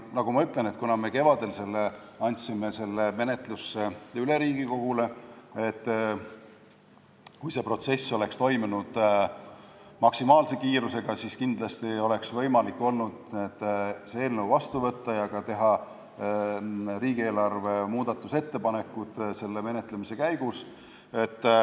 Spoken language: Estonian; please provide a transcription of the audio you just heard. Nagu ma ütlesin, me kevadel andsime selle eelnõu Riigikogule üle ja kui see protsess oleks toimunud maksimaalse kiirusega, siis kindlasti oleks olnud võimalik see seadus vastu võtta ja teha ka riigieelarve kohta muudatusettepanekuid selle menetlemise käigus.